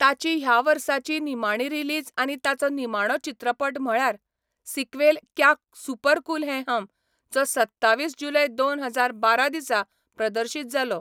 ताची ह्या वर्साची निमाणी रिलीज आनी ताचो निमाणो चित्रपट म्हळ्यार sequel Kya super cool Hain Hum, जो सत्तावीस जुलय दोन हजार बारा दिसा प्रदर्शीत जालो.